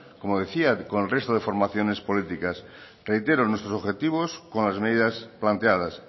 como decía con el resto de formaciones políticas reitero nuestros objetivos con las medidas planteadas